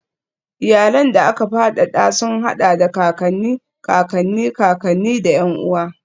Iyalan da aka fadada sun haɗa da kakanni, kakanni, kakanni, da ƴan uwa.